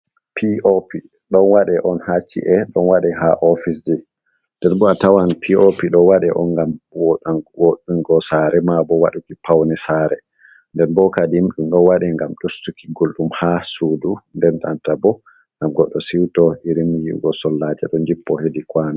P.O.P don wadeonha ci’e on wade ha oficej, den bo a tawan pop do wade on ngam woɗungo sare ma bo waɗuki paune sare nden bo kadi dum don wade gam ustuki guldum ha sudu nden nanta bo gam goɗɗo siwto irin yi'ugo sollaje don jippo hedi kwano.